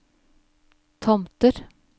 Tomter